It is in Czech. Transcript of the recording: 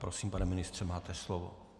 Prosím, pane ministře, máte slovo.